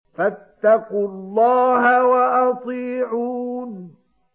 فَاتَّقُوا اللَّهَ وَأَطِيعُونِ